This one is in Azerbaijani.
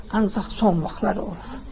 Ancaq son vaxtlar olub.